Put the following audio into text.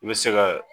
I bɛ se ka